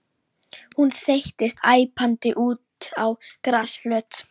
Hún þeyttist æpandi út á grasflöt.